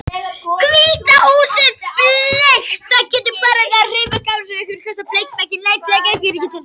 Hvíta húsið bleikt